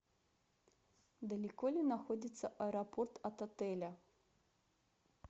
далеко ли находится аэропорт от отеля